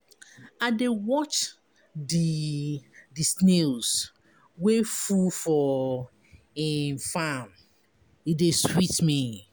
I dey watch di di snails wey full for im farm, e dey sweet me.